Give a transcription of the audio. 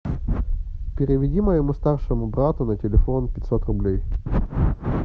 переведи моему старшему брату на телефон пятьсот рублей